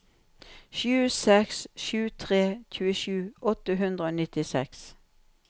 sju seks sju tre tjuesju åtte hundre og nittiseks